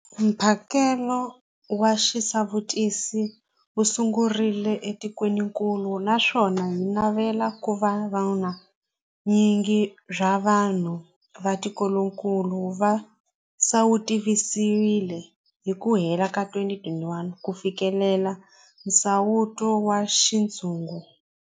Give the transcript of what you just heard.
Mphakelo wa xisawutisi wu sungurile etikwenikulu naswona hi navela ku va vu nyingi bya vanhu va tikokulu va sawutisiwile hi ku hela ka 2021 ku fikelela nsawuto wa xintshungu.